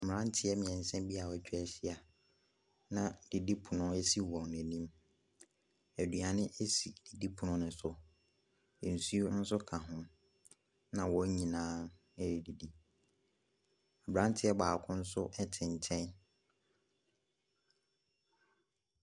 Mmeraneɛ mmiɛnsa bi wɔatwa ahyia na didipono si wɔn anim, aduane si didipono ne so, nsuo nso ka ho, na wɔn nyinaa ɛredidi. Aberanteɛ baako nso te nkyɛn.